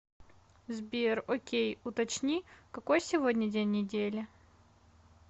сбер окей уточни какой сегодня день недели